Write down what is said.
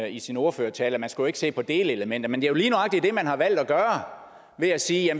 i sin ordførertale at man ikke skulle se på delelementer men jo lige nøjagtig det man har valgt at gøre ved at sige at